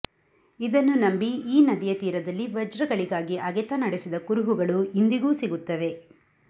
ಇದನ್ನು ನಂಬಿ ಈ ನದಿಯ ತೀರದಲ್ಲಿ ವಜ್ರಗಳಿಗಾಗಿ ಅಗೆತ ನಡೆಸಿದ ಕುರುಹುಗಳು ಇಂದಿಗೂ ಸಿಗುತ್ತವೆ